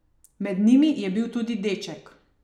Med njimi je bil tudi deček.